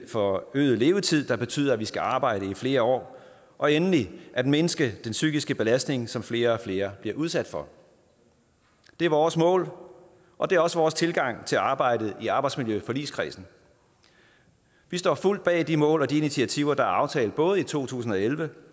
forøgede levetid der betyder at vi skal arbejde i flere år og endelig at mindske den psykiske belastning som flere og flere bliver udsat for det er vores mål og det er også vores tilgang til arbejdet i arbejdsmiljøforligskredsen vi står fuldt bag de mål og de initiativer der er aftalt både i to tusind og elleve